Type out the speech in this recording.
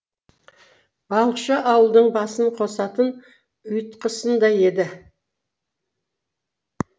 балықшы ауылдың басын қосатын ұйытқысындай еді